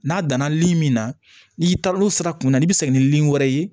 N'a danna lili min na n'i taal'olu sira kunna n'i bɛ segin ni wɛrɛ ye